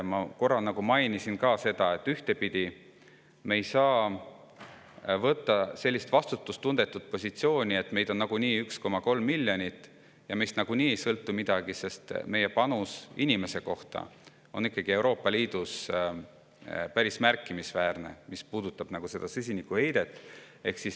Ma korra mainisin ka seda, et ühtepidi ei saa me võtta sellist vastutustundetut positsiooni, et meid on 1,3 miljonit ja meist nagunii ei sõltu midagi, sest meie panus inimese kohta on Euroopa Liidus ikkagi päris märkimisväärne, mis puudutab süsinikuheidet.